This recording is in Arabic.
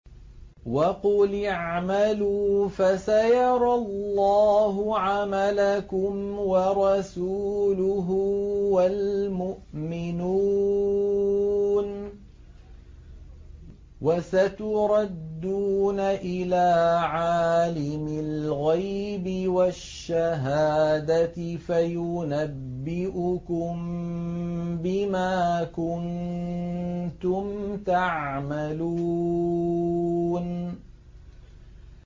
وَقُلِ اعْمَلُوا فَسَيَرَى اللَّهُ عَمَلَكُمْ وَرَسُولُهُ وَالْمُؤْمِنُونَ ۖ وَسَتُرَدُّونَ إِلَىٰ عَالِمِ الْغَيْبِ وَالشَّهَادَةِ فَيُنَبِّئُكُم بِمَا كُنتُمْ تَعْمَلُونَ